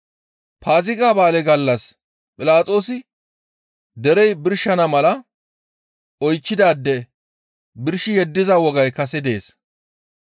Paaziga ba7aale gallas Philaxoosi derey birshana mala oychchidaade birshi yeddiza wogay kase dees.